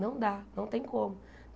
Não dá, não tem como.